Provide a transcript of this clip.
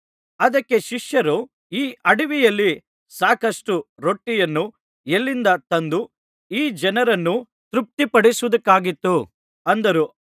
ಅದಕ್ಕೆ ಶಿಷ್ಯರು ಈ ಅಡವಿಯಲ್ಲಿ ಸಾಕಷ್ಟು ರೊಟ್ಟಿಯನ್ನು ಎಲ್ಲಿಂದ ತಂದು ಈ ಜನರನ್ನು ತೃಪ್ತಿಪಡಿಸುವುದಕ್ಕಾದೀತು ಅಂದರು